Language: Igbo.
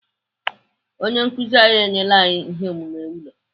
Onye nkụzi anyị enyela anyị ihe omume ụlọ.